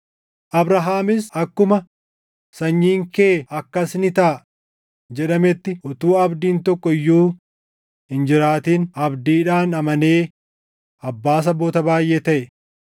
Abrahaamis akkuma, “Sanyiin kee akkas ni taʼa” + 4:18 \+xt Uma 15:5\+xt* jedhametti utuu abdiin tokko iyyuu hin jiraatin abdiidhaan amanee abbaa saboota baayʼee taʼe.